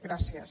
gràcies